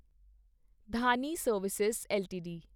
Dhani service LTD